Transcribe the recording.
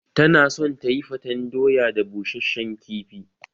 Tana son tayifaten doya da busheshen kifi